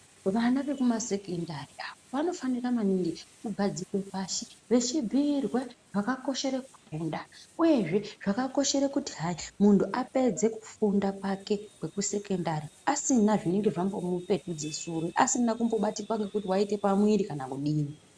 Vana vekumasekendari avo vanofanira maningi kugadzikwe pashi vechibhiirwe zvakakoshere kufunda uye zvee zvakakoshere kuti hai muntu apedze kufunda kwake kwekusekendari asina zvinenge zvambomupetudze shure, asina kumbobatika nekuti waite pamwiri kana kudini.